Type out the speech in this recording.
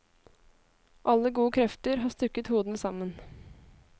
Alle gode krefter har stukket hodene sammen.